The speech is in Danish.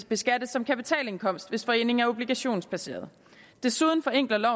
beskattes som kapitalindkomst hvis foreningen er obligationsbaseret desuden forenkler